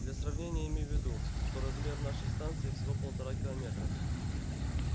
для сравнения имей в виду что размер нашей станции всего полтора километра